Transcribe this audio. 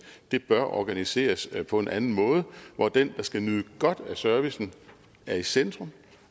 det bør organiseres på en anden måde hvor den der skal nyde godt af servicen er i centrum